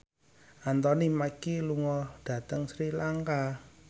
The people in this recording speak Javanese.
Anthony Mackie lunga dhateng Sri Lanka